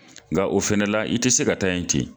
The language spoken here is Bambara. Nka o fana la i ti se ka taa yen ten.